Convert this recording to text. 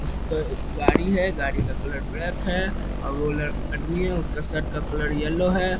उसके गाड़ी है गाड़ी का कलर ब्लैक है और वो लड़ आदमी है | उसका शर्ट का कलर येलो है ।